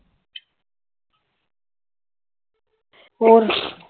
ਹੋਰ